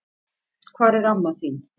Hvar er amma þín?